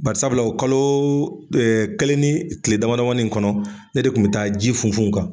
Barisabula o kalo kelen ni kile dama damanin kɔnɔ, ne de kun mi taa ji funfun u kan